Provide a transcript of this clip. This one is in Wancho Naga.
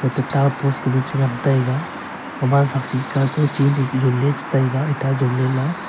eto ta post cha ngan taiga khaman sakshit ka ku sele jon le cha taiga eta jonle la.